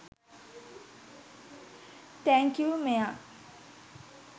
thank you මෙයා